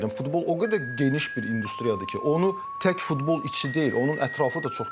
Amma yenə də deyirəm, futbol o qədər geniş bir industriyadır ki, onu tək futbol içi deyil, onun ətrafı da çox genişdir.